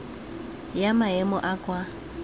ya maemo a a kwa